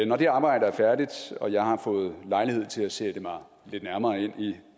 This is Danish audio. når det arbejde er færdigt og jeg har fået lejlighed til at sætte mig lidt nærmere ind i